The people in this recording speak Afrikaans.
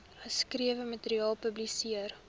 geskrewe materiaal publiseer